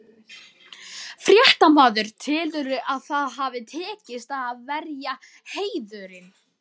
Fréttamaður: Telurðu að það hafi tekist, að verja heiðurinn?